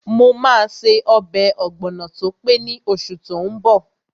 Mo máa ṣe ọbẹ̀ ọ̀gbọ̀nọ̀ tó pé ní oṣù tó n bọ̀